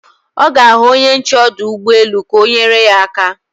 Ọ ga-ahụ onye nche ọdụ ụgbọelu ka o nyere ya aka